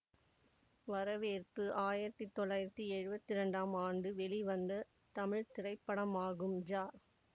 வரவேற்பு ஆயிரத்தி தொள்ளாயிரத்தி எழுவத்தி ரெண்டாம் ஆண்டு வெளிவந்த தமிழ் திரைப்படமாகும் ஜ